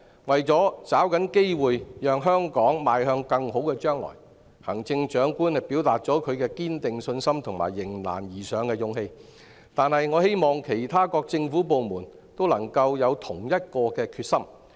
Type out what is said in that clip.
為抓緊機會，讓香港邁向更好的將來，行政長官展現了她堅定的信心和迎難而上的勇氣，但我希望其他各政府部門都能夠有同一決心。